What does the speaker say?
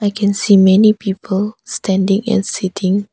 I can see many people standing and sitting.